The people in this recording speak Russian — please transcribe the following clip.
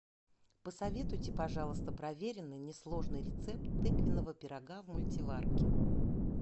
посоветуйте пожалуйста проверенный несложный рецепт тыквенного пирога в мультиварке